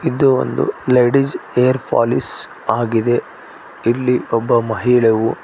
ಇದು ಒಂದು ladies hair polish ಆಗಿದೆ ಇಲ್ಲಿ ಒಬ್ಬ ಮಹಿಳೆವು --